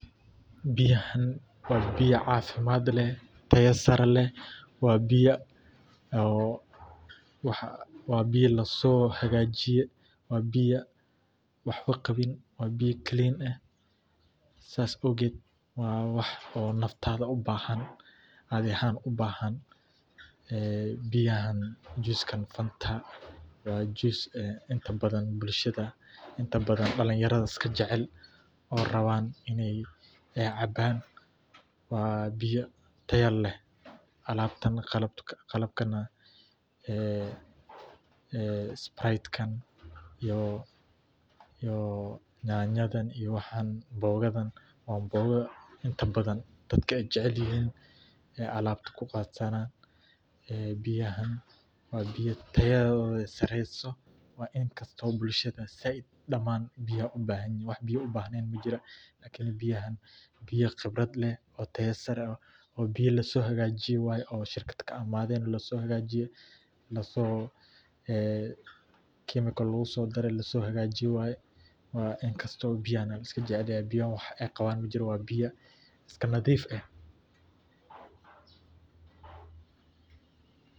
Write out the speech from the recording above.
Biyahan wa biya cafimad leh tayo sare leh wa biya oo wa biya laso hagajiyr, wa biya waxba gawi wa biya clean eh sas owged wa wax oo naftada ubahan adhii ahan ubahan ee biyahan juice fanta wa juice inta badan bulshada inta badan dalinyarada iskajecel oo rawnn inay cabaan, wa biya taya leh, alabtaan qalabkana ee sprite ka iyo nyanyadan iyo waxan anboqadan wa an boga inta badan dadak ay jecelyixiin, ay alabta kuqatana ee biyahan wa biya tayadoda sareyso wa in bulshada zaid daman ay ubahanyixiin wax biya ubahnen majira lakin in biyahan biya tayo sare leh oo qibrad leh in lasohagajiyo wayee oo shirkad kaimaden lasohagajiye laso ee chemical lagusodare lasohagajiye waye, inkasto biyahan lajecelyahay biyahan wax ay qawaan majirto wa biya iska nadiif eh.